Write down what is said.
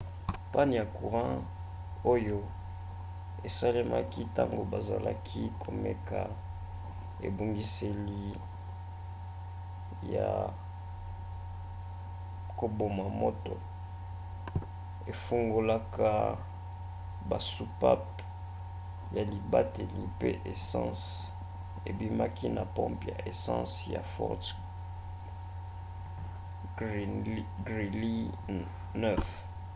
panne ya courant oyo esalemaki ntango bazalaki komeka ebongiseli ya koboma moto efungolaka basoupape ya libateli mpe essence ebimaki na pompe ya essence ya fort greely 9